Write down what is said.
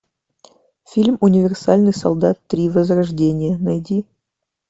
фильм универсальный солдат три возрождение найди